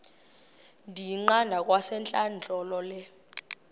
ndiyiqande kwasentlandlolo le